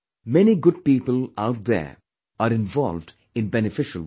Many good people out there are involved in beneficial work